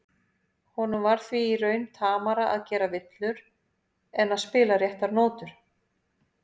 Honum var því í raun tamara að gera villur en að spila réttar nótur.